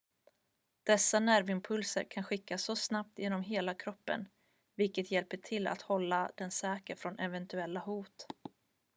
dessa nervimpulser kan skickas så snabbt genom hela kroppen vilket hjälper till att hålla den säker från eventuella hot